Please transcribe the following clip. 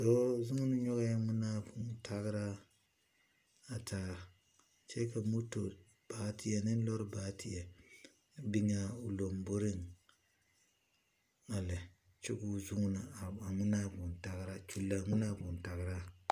Dɔɔ zũũni nyɔgɛɛ ŋmenaa vũũ tageraa kyɛ ka motori baateɛ ne lɔɔre baateɛ biŋ a o lomboriŋ a lɛ kyɛ ka o zũũni a ŋmenaa vũũ tageraa, a kyulli a ŋmenaa vũũ tagreaa.